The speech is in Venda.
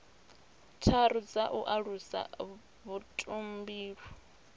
tharu dza u alusa vhutumbuli